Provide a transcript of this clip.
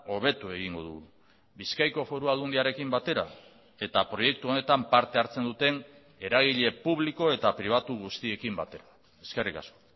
hobetu egingo dugu bizkaiko foru aldundiarekin batera eta proiektu honetan parte hartzen duten eragile publiko eta pribatu guztiekin batera eskerrik asko